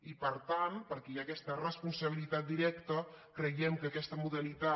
i per tant perquè hi ha aquesta responsabilitat directa creiem que aquesta modalitat